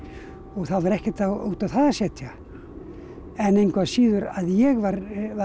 það var ekkert út á það að setja en engu að síður að ég var